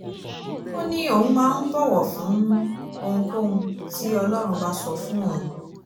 ó ní òun máa ń bọ̀wọ̀ fún ohunkóhun tí ọlọ́run bá sọ fún òun